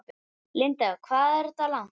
Linda: Hvað er það langt?